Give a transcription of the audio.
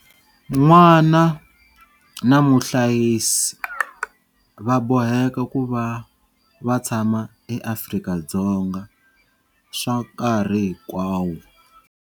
N'wana na muhlayisi va boheka ku va va tshama eAfrika-Dzonga swa nkarhi hinkwawo.